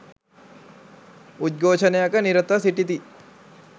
උද්ඝෝෂණයක නිරතව සිටිති